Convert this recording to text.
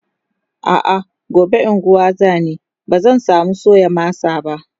a'a gobe unguwa zani bazan samu soya masa ba